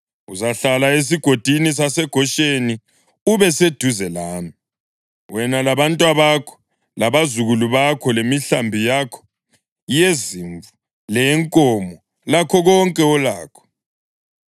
Uzahlala esigodini saseGosheni ube seduze lami, wena labantwabakho, labazukulu bakho; lemihlambi yakho yezimvu leyenkomo lakho konke olakho.